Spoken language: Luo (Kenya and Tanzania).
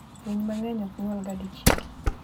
Winy mang'eny ok nyuolga dichiel.